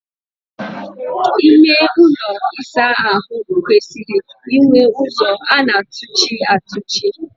Ime ụlọ ịsa ahụ kwesịrị inwe ụzọ a na-atụchi atụchi.